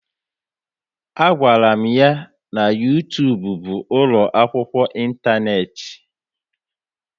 A gwara m ya na YouTube bụ ụlọ akwụkwọ intaneti